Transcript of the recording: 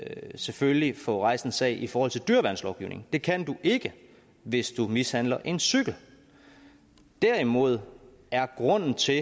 selvfølgelig få rejst en sag i forhold til dyreværnslovgivningen det kan du ikke hvis du mishandler en cykel derimod er grunden til